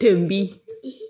tumbi.